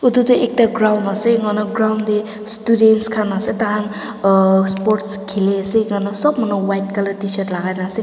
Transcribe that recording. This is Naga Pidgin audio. etu tu ekta ground ase enga na ground de students khan ase dakan uhhh sports khili ase enga sob manu white color tshirt lagai na ase.